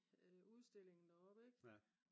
udstillingen deroppe ik